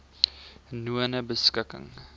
nonebeskikking